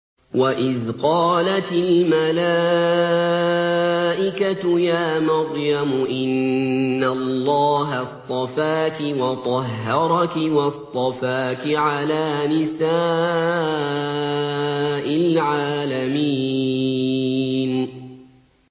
وَإِذْ قَالَتِ الْمَلَائِكَةُ يَا مَرْيَمُ إِنَّ اللَّهَ اصْطَفَاكِ وَطَهَّرَكِ وَاصْطَفَاكِ عَلَىٰ نِسَاءِ الْعَالَمِينَ